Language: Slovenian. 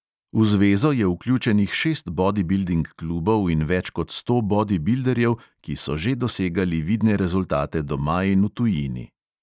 V zvezo je vključenih šest bodibilding klubov in več kot sto bodibilderjev, ki so že dosegali vidne rezultate doma in v tujini.